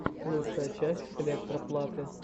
лучшая часть электро платы